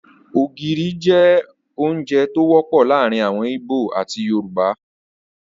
Ógiri jẹ ounjẹ to wọpọ laarin awọn Igbo ati Yorùbá